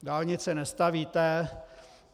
Dálnice nestavíte.